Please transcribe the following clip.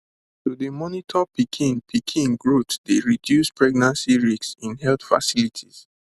to dey monitor pikin pikin growth dey reduce pregnancy risks in health facilities